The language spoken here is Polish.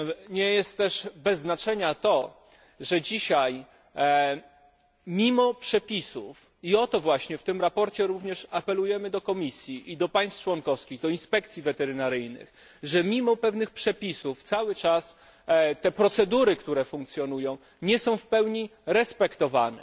Nie jest też bez znaczenia to, że dzisiaj, mimo przepisów i o to właśnie w tym sprawozdaniu również apelujemy do Komisji i do państw członkowskich, do inspekcji weterynaryjnych że mimo pewnych przepisów te procedury, które funkcjonują, nie są w pełni respektowane.